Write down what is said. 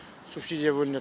субсидия бөлінеді